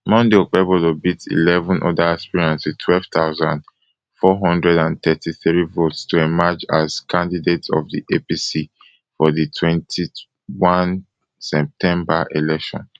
monday okpebholo beat eleven oda aspirants wit twelve thousand, four hundred and thirty-three votes to emerge as candidate of di apc for di di twenty-one september election